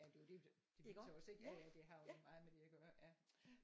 Jamen det er jo det det er jo tosset ja ja det har jo meget med det at gøre ja